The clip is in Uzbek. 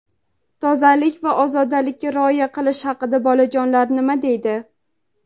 Tozalik va ozodalikka rioya qilish haqida bolajonlar nima deydi?.